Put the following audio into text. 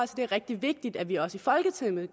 det er rigtig vigtigt at vi også i folketinget